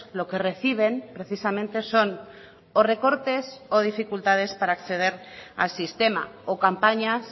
lo que reciben precisamente son o recortes o dificultades para acceder al sistema o campañas